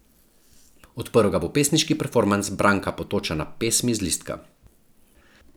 Odprl ga bo pesniški performans Branka Potočana Pesmi z listka.